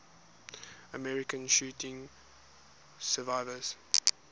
american shooting survivors